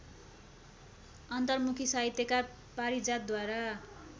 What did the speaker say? अन्तर्मुखी साहित्यकार पारिजातद्वारा